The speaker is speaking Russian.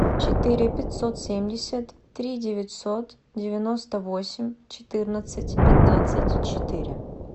четыре пятьсот семьдесят три девятьсот девяносто восемь четырнадцать пятнадцать четыре